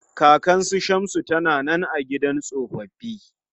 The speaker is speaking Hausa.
Kakan su Shamsu ta na nan a gidan tsofaffi.